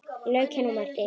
Lauk henni og merkti.